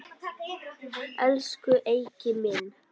Elsku Eiki minn.